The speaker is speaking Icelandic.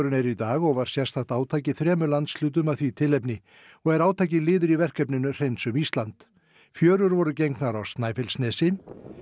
er í dag og var sérstakt átak í þremur landshlutum af því tilefni í og er átakið liður í verkefninu hreinsum Ísland fjörur voru gengnar á Snæfellsnesi